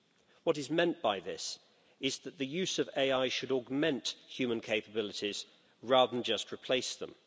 What is meant by this is that the use of AI should augment human capabilities rather than just replace them.